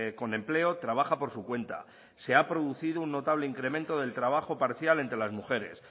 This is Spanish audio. con empleo trabaja por su cuenta se ha producido un notable incremento del trabajo parcial entre las mujeres